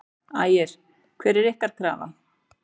Ægir: Hver er ykkar krafa?